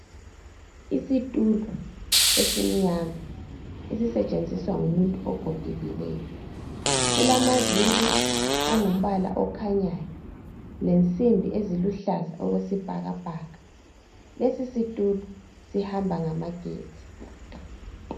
Isitulo esimnyama esisetshenziswa ngumuntu ogogekileyo silamaviri angumbala okhanyayo lensimbi eziluhlaza okwesibhakabhaka lesi situlo sihamba ngamagetsi.